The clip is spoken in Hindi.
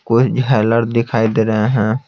कोई हैलर दिखाई दे रहे हैं।